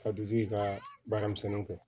Ka dutigi ka baaramisɛnninw kɛ